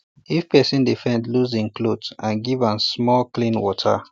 if person dey faint loose hin cloth and give am small clean water